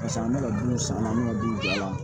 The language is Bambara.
Paseke an bɛ ka du san an me ka bin bɔ a la